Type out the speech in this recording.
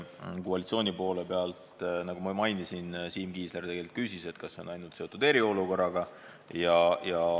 Koalitsiooni poole pealt, nagu ma mainisin, Siim Kiisler küsis, kas see eelnõu on seotud ainult eriolukorraga.